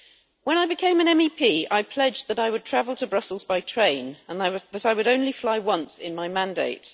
When I became an MEP, I pledged that I would travel to Brussels by train and that I would only fly once in my mandate.